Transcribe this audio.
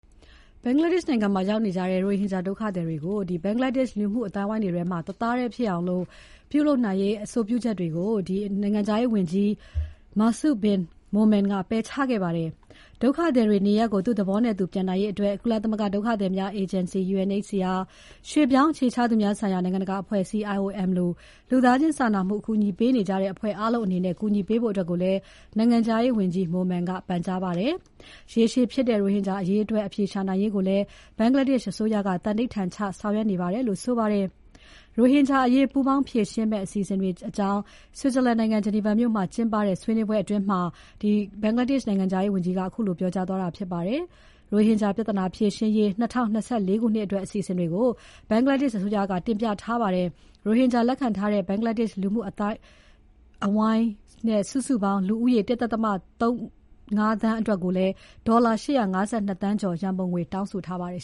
ဘင်္ဂလားဒေရှ့်နိုင်ငံမှာ ရိုဟင်ဂျာဒုက္ခသည်တွေကို လူမှုအသိုင်းအဝိုင်းတွေထဲမှာ တသားထဲဖြစ်စေရေး အကြုံပြုချက်တွေကို နိုင်ငံခြားရေးဝန်ကြီး Masud Bin Momen ပယ်ချခဲ့ပါတယ်။ ဒုက္ခသည်တွေ နေရပ်ကို သူ့သဘောနဲ့သူ ပြန်နိုင်ရေးအတွက် ကုလသမဂ္ဂဒုက္ခသည်များအေဂျင်စီ UNHCR၊ ရွှေ့ပြောင်းအခြေချသူများဆိုင်ရာ နိုင်ငံတကာအဖွဲ့အစည်း IOM လို လူသားချင်းစာနာမှုဆိုင်ရာ အကူအညီပေးနေကြတဲ့အဖွဲ့အားလုံးအနေနဲ့ ကူညီပေးကြဖို့ကိုလည်း နိုင်ငံခြားရေးဝန်ကြီး Momen ကပန်ကြားခဲ့ပါတယ်။ ရေရှည်ဖြစ်နေတဲ့ ရိုဟင်ဂျာအရေးအတွက် အဖြေရှာနိုင်ရေးကိုလည်း ဘင်္ဂလားဒေရှ့် အစိုးရက သန္နိဋ္ဌာန်ချဆောင်ရွက်နေပါတယ်လို့ဆိုပါတယ်။ ရိုဟင်ဂျာအရေး ပူးပေါင်းဖြေရှင်းမယ့် အစီအစဉ်တွေအကြောင်း Switzerland နိုင်ငံ Geneva မြို့မှာကျင်းပတဲ့ ဆွေးနွေးပွဲအတွင်း နိုင်ငံခြားရေးဝန်ကြီးက ပြောကြားသွားတာဖြစ်ပါတယ်။ ရိုဟင်ဂျာ ပြဿနာဖြေရှင်းရေး ၂၀၂၄ ခုနှစ်အတွက် အစီအစဉ်တွေကို ဘင်္ဂလားဒေရှ့်အစိုးရက တင်ပြထားပါတယ်။ ရိုဟင်ဂျာ၊ လက်ခံထားတဲ့ ဘင်္ဂလားဒေရှ့်လူမှုအသိုင်းအဝိုင်း စုစုပေါင်း ၁.၃၅ သန်းအတွက် ဒေါ်လာ ၈၅၂ သန်းကျော် ရန်ပုံငွေတောင်းဆိုထားပါတယ်